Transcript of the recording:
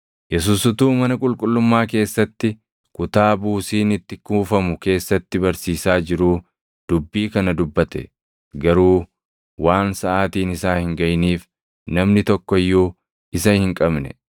Yesuus utuu mana qulqullummaa keessatti, kutaa buusiin itti kuufamu keessatti barsiisaa jiruu dubbii kana dubbate. Garuu waan saʼaatiin isaa hin gaʼiniif namni tokko iyyuu isa hin qabne.